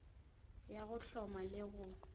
ya go hloma le go